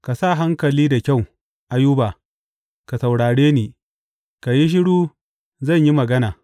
Ka sa hankali da kyau, Ayuba, ka saurare ni; ka yi shiru zan yi magana.